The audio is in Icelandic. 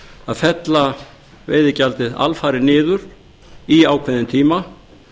að fella veiðigjaldið alfarið niður í ákveðinn tíma